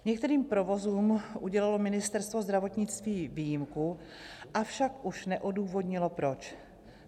Některým provozům udělilo Ministerstvo zdravotnictví výjimku, avšak už neodůvodnilo proč.